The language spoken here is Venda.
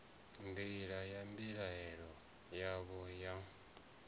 nḓila ye mbilaelo yavho ya